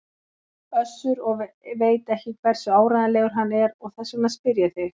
Össur og veit ekki hversu áreiðanlegur hann er og þess vegna spyr ég þig.